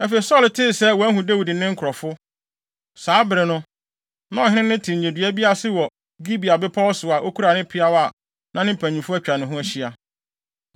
Afei Saulo tee sɛ wɔahu Dawid ne ne nkurɔfo. Saa bere no, na ɔhene no te nnyedua bi ase wɔ Gibea bepɔw so a okura ne peaw na ne mpanyimfo atwa ne ho ahyia.